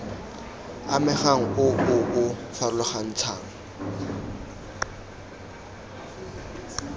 amegang o o o farologantshang